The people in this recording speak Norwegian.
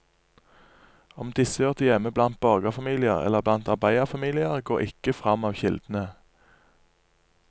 Om disse hørte hjemme blant borgerfamilier eller blant arbeiderfamiliene går ikke fram av kildene.